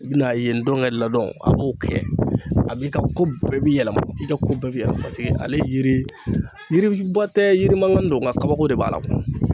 I bi na ye ndɔnkɛ ladɔn a b'o kɛ A b'i ka ko bɛɛ bi yɛlɛma ,i ka ko bɛɛ bi yɛlɛma. Paseke ale yiri, yiri ba tɛ yiri mankannin don, nga kabako de b'a la.